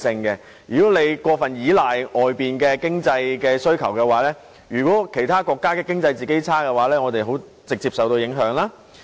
如果過分依賴外界的經濟需求，當其他國家經濟衰退時，我們便會直接受到影響。